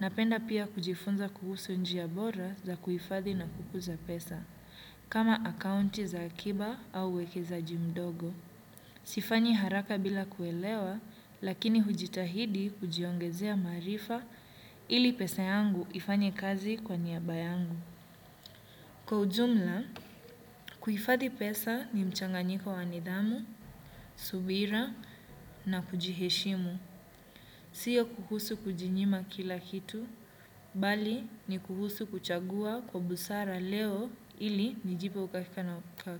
napenda pia kujifunza kuhusu njia bora za kuhifadhi na kukuza pesa, kama akaunti za akiba au uwekezaji mdogo. Sifanyi haraka bila kuelewa, lakini hujitahidi kujiongezea maarifa ili pesa yangu ifanye kazi kwa niaba yangu. Kwa ujumla, kuhifadhi pesa ni mchanganyiko wa nidhamu, subira na kujiheshimu. Sio kuhusu kujinyima kila kitu, bali ni kuhusu kuchagua kwa busara leo ili nijipe.